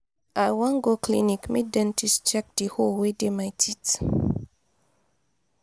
i wan go clinic make dentist check di hole wey dey my teeth.